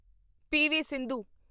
PV. Sindhu